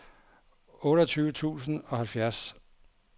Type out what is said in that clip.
otteogtyve tusind og halvfjerds